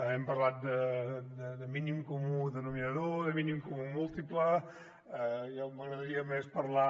hem parlat de mínim comú denominador de mínim comú múltiple i a mi m’agradaria més parlar